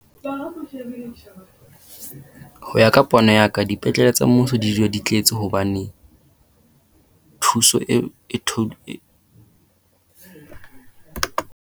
Ho ya ka pono ya ka dipetlele tsa mmuso di dula di tletse hobane thuso